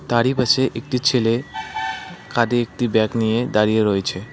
তারই পাশে একটি ছেলে কাঁধে একটি ব্যাগ নিয়ে দাঁড়িয়ে রয়েছে।